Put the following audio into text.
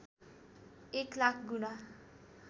१ लाख गुणा